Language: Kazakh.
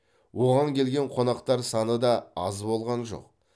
оған келген қонақтар саны да аз болған жоқ